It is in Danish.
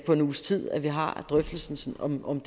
på en uges tid at vi har drøftelsen om om